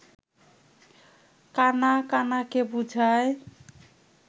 কাণা কাণাকে বুঝায়